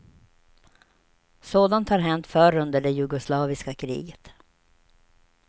Sådant har hänt förr under det jugoslaviska kriget.